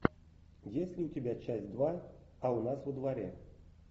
есть ли у тебя часть два а у нас во дворе